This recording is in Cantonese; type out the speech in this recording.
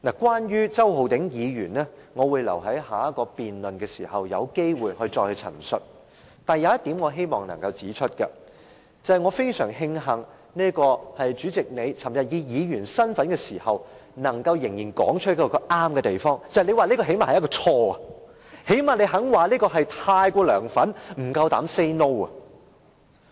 關於周浩鼎議員，我會留待下個辯論環節有機會時再陳述，但有一點我希望能夠指出，我非常慶幸代理主席昨天以議員身份發言時，仍能說出正確的一點，便是你最少會說這是一個錯誤，最少你願意說他太過"梁粉"、不夠膽 "say no"。